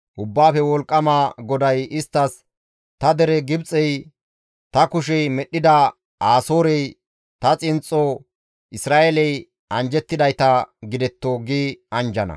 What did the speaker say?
Ubbaafe Wolqqama GODAY isttas, «Ta dere Gibxey, ta kushey medhdhida Asoorey, ta xinxxo Isra7eeley anjjettidayta gidetto» gi anjjana.